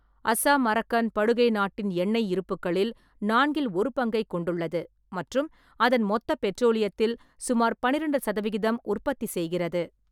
அஸ்ஸாம்-அரக்கன் படுகை நாட்டின் எண்ணெய் இருப்புக்களில் நான்கில் ஒரு பங்கைக் கொண்டுள்ளது மற்றும் அதன் மொத்த பெட்ரோலியத்தில் சுமார் பன்னிரெண்டு சதவிகிதம் உற்பத்தி செய்கிறது.